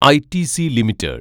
ITC limited